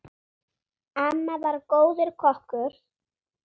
Amma var góður kokkur.